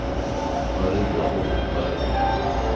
Maria Holmberg